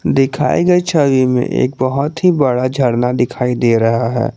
दिखाए गए छवि में एक बहोत ही बड़ा झरना दिखाई दे रहा है।